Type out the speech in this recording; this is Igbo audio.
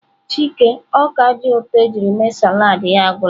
Chike ọka dị ụtọ ejiri mee salad ya agwụla.